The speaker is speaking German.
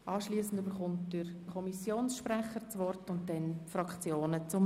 Anschliessend erhält der Kommissionsprecher das Wort und danach die Fraktionssprecher.